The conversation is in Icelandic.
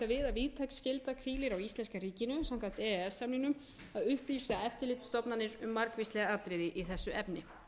víðtæk skylda hvílir á íslenska ríkinu samkvæmt e e s samningnum að upplýsa eftirlitsstofnanir um margvísleg atriði í þessu efni